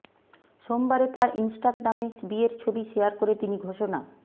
সোমবারে তার ইনস্টাগ্রামে বিয়ের ছবি শেয়ার করে তিনি ঘোষণা